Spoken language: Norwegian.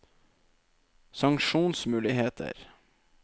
sanksjonsmuligheter